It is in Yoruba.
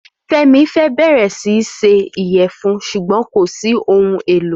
Femi fẹ́ bẹ̀rẹ̀ sí í se ìyẹ̀fun ṣùgbọ́n kò sí ohun èlò